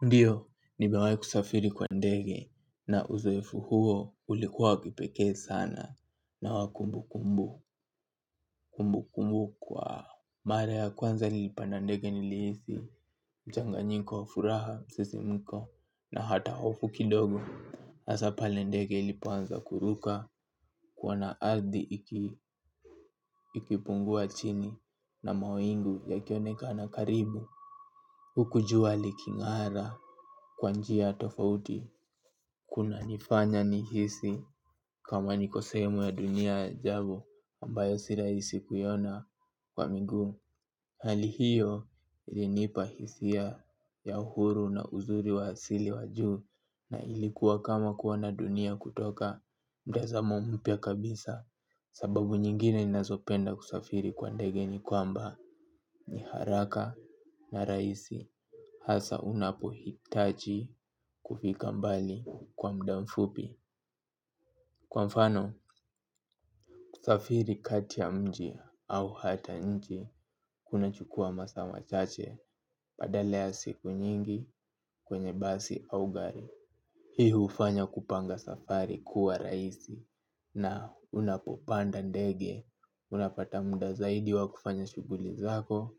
Ndiyo, nimewahi kusafiri kwa ndege na uzoefu huo ulikuwa wa kipekee sana na wa kumbukumbu kumbukumbu kwao. Mara ya kwanza nilipanda ndege nilihisi mchanganyiko wa furaha msisimuko na hata hofu kidogo. Hasa pale ndege ilipoanza kuruka kuona ardhi ikipungua chini na mawingu yakionekana karibu. Huku jua liking'ara kwa njia tofauti kunanifanya nijihisi. Kama niko sehemu ya dunia ya ajabu ambayo si rahisi kuiona kwa miguu. Hali hiyo ilinipa hisia ya uhuru na uzuri wa asili wa juu. Na ilikuwa kama kuona dunia kutoka mtazamo mpya kabisa. Sababu nyingine ninazopenda kusafiri kwa ndege ni kwamba ni haraka na rahisi. Hasa unapohitaji kufika mbali kwa muda mfupi. Kwa mfano, kusafiri kati ya mji au hata nje kunachukua masaa machache badala ya siku nyingi kwenye basi au gari. Hii hufanya kupanga safari kuwa rahisi. Na unapopanda ndege unapata muda zaidi wa kufanya shughuli zako.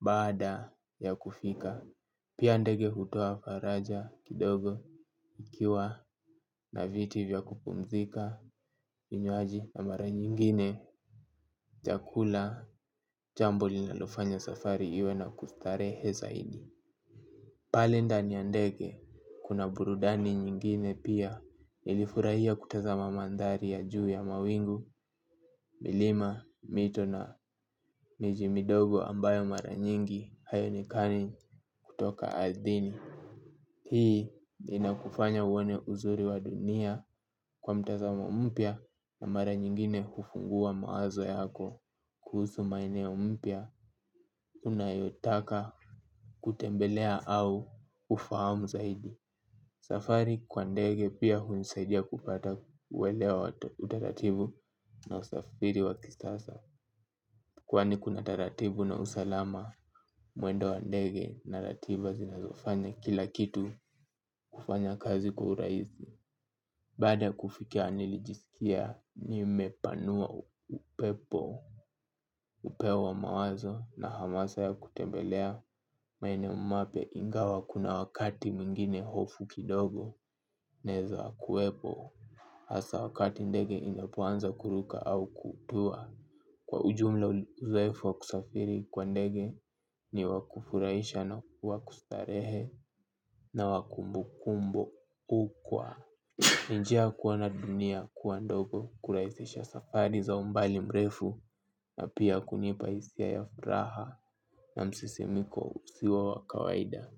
Baada ya kufika pia ndege hutoa faraja kidogo ikiwa na viti vya kupumzika vinywaji na mara nyingine chakula jambo linalofanya safari iwe na kustarehe zaidi pale ndani ya ndege kuna burudani nyingine pia nilifurahia kutazama mandhari ya juu ya mawingu milima mito na miji midogo ambayo mara nyingi haionekani kutoka ardhini hii inakufanya uone uzuri wa dunia kwa mtazamo mpya na mara nyingine hufungua mawazo yako. Kuhusu maeneo mpya unayotaka kutembelea au ufahamu zaidi safari kwa ndege pia hunisaidia kupata uelewa wa utaratibu na usafiri wa kisasa kwani kuna taratibu na usalama mwendo wa ndege na ratiba zinazofanya kila kitu kufanya kazi kwa urahisi. Baada kufika nilijisikia nimepanua upepo upeo wa mawazo na hamasa ya kutembelea maeneo mapya ingawa kuna wakati mwingine hofu kidogo unaezakuwepo hasa wakati ndege inapoanza kuruka au kutua. Kwa ujumla uzoefu wa kusafiri kwa ndege ni wa kufurahisha na wa kustarehe na wa kukumbukwa. Ni njia ya kuona dunia kuwa ndogo kurahisisha safari za umbali mrefu na pia kunipa hisia ya furaha na msisimiko usio wa kawaida.